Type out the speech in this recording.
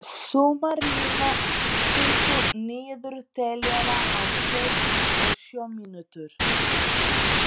Sumarlína, stilltu niðurteljara á fjörutíu og sjö mínútur.